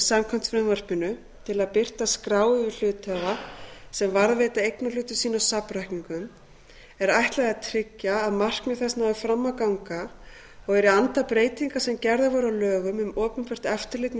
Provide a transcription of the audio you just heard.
samkvæmt frumvarpinu til að birta skrá yfir hluthafa sem varðveita eignarhluti sína á safnreikningum er ætlað að tryggja að markmið þess nái fram að ganga og er í anda breytinga sem gerðar voru á lögum um opinbert eftirlit með